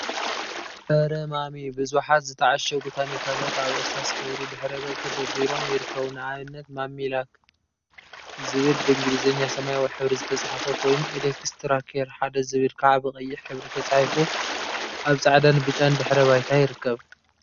አረ ማሚ! ቡዙሓት ዝተዓሸጉ ታኒካታት አብ እርሳስ ሕብሪ ድሕረ ገፅ ተደርዲሮም ይርከቡ፡፡ ንአብነት ማሚ ላክ ዝብል ብእንግሊዘኛ ሰማያዊ ሕብሪ ዝተፀሓፈ ኮይኑ፤ ኤክስትራ ኬር ሓደ ዝብል ከዓ ብቀይሕ ሕብሪ ተፃሒፉ አብ ፃዕዳን ብጫን ድሕረ ባይታ ይርከብ፡፡